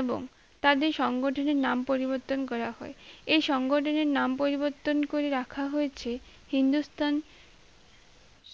এবং তাদের সংগঠিত নাম পরিবর্তন করা হয় এই সংগঠনের নাম পরিবর্তন করে রাখা হয়েছে হিন্দুস্থান